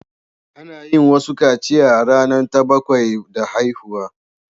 Ana yin wasu kaciya a rana ta bakwai da haihuwa.